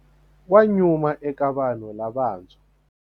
Wa nyuma eka vanhu lavantshwa.